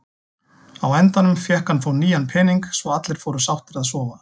Á endanum fékk hann þó nýjan pening svo allir fóru sáttir að sofa.